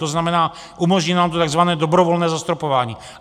To znamená, umožní nám to tzv. dobrovolné zastropování.